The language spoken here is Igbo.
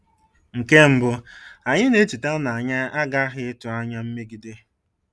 Nke mbụ, anyị na-echeta na anyị aghaghị ịtụ anya mmegide.